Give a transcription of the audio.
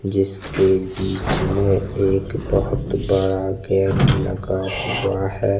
जिसके बीच में एक बहोत बड़ा गेट लगा हुआ हैं।